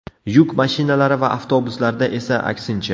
Yuk mashinalari va avtobuslarda esa aksincha.